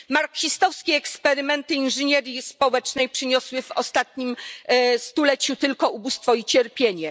Marksistowskie eksperymenty inżynierii społecznej przyniosły w ostatnim stuleciu tylko ubóstwo i cierpienie.